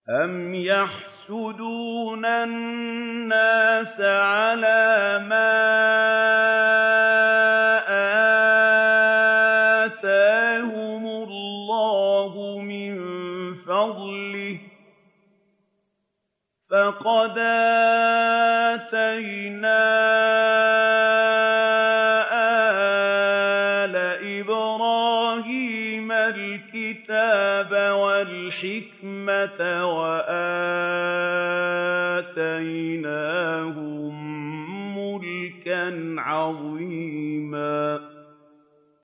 أَمْ يَحْسُدُونَ النَّاسَ عَلَىٰ مَا آتَاهُمُ اللَّهُ مِن فَضْلِهِ ۖ فَقَدْ آتَيْنَا آلَ إِبْرَاهِيمَ الْكِتَابَ وَالْحِكْمَةَ وَآتَيْنَاهُم مُّلْكًا عَظِيمًا